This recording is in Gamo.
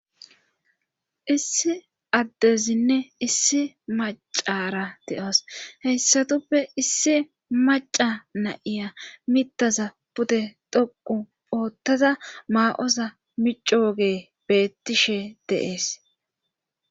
Issi addezinne issi macara de'os heyssatuppe issi maca na'iya mittaza pude dhoqu poottaza maa'oza mici woge beettishe deees.